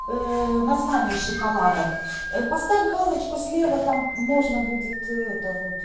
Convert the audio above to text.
название шоколадок поставь галочку слева там можно будет это вот